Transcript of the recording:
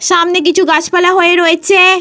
সামনে কিছু গাছপালা হয়ে রয়েছে।